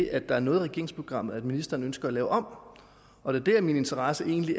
at der er noget i regeringsprogrammet ministeren ønsker at lave om og der er min interesse egentlig